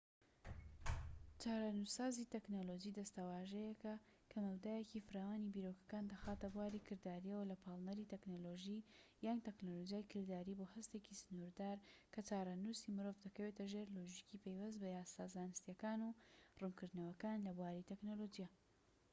چارەنووسسازی تەکنەلۆجی دەستەواژەیەکە کە مەودایەکی فراوانی بیرۆکەکان دەخاتە بواری کردارییەوە لە پاڵنەری تەکنەلۆژی یان تەکنەلۆجیای کرداریی بۆ هەستێکی سنوردار کە چارەنووسی مرۆڤ دەکەوێتە ژێر لۆژیکی پەیوەست بە یاسا زانستیەکان و ڕوونکردنەوەکان لە بواری تەکنەلۆجیا